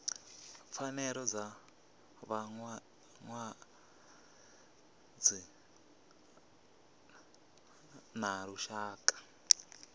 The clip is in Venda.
pfanelo dza vhalwadze ḽa lushaka